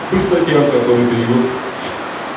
статьям который перевёл